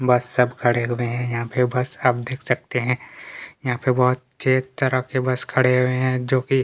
बस सब खड़े हुए है यहाँ पे बस आप देख सकते है यहाँ पे बहुत चेक तरह के बस खड़े हुए है जो की--